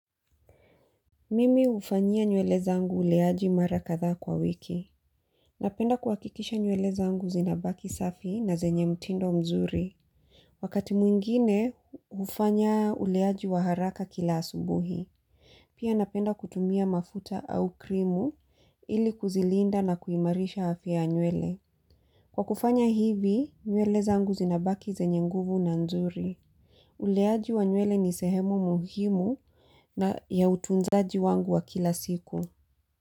Mimi hufanyia nywele zangu uleaji mara kadhaa kwa wiki. Napenda kuhakikisha nywele zangu zinabaki safi na zenye mtindo mzuri. Wakati mwingine hufanya uleaji wa haraka kila asubuhi. Pia napenda kutumia mafuta au krimu ili kuzilinda na kuimarisha afya ya nywele. Kwa kufanya hivi nywele zangu zinabaki zenye nguvu na nzuri. Uleaji wa nywele ni sehemu muhimu na ya utunzaji wangu wa kila siku.